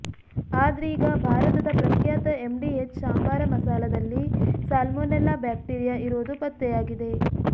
ಆದ್ರೀಗ ಭಾರತದ ಪ್ರಖ್ಯಾತ ಎಂಡಿಎಚ್ ಸಾಂಬಾರ ಮಸಾಲದಲ್ಲಿ ಸಾಲ್ಮೊನೆಲ್ಲಾ ಬ್ಯಾಕ್ಟೀರಿಯಾ ಇರೋದು ಪತ್ತೆಯಾಗಿದೆ